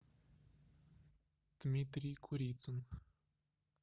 дмитрий курицын